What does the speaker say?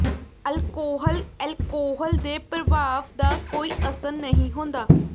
alcohol alcohol ਦੇ ਪ੍ਰਭਾਵ ਦਾ ਕੋਈ ਅਸਰ ਨਹੀਂ ਹੁੰਦਾ